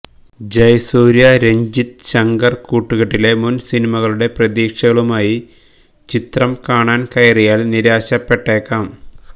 ജയസൂര്യ രഞ്ജിത് ശങ്കർ കൂട്ടുകെട്ടിലെ മുൻ സിനിമകളുടെ പ്രതീക്ഷകളുമായി ചിത്രം കാണാൻ കയറിയാൽ നിരാശപ്പെട്ടേക്കാം